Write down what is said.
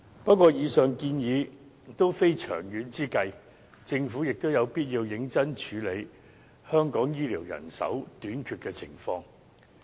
不過，以上建議也非長遠之計，政府有必要認真處理香港醫療人手短缺的情況。